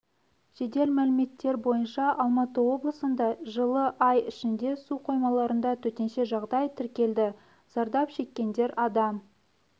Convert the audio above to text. жедел мәліметтер бойынша алматы облысында жылы ай ішінде су қоймаларында төтенше жағдай тіркелді зардап шеккендер адам